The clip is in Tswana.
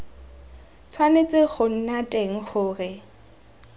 tshwanetse go nna teng gore